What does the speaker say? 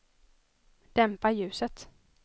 dämpa ljuset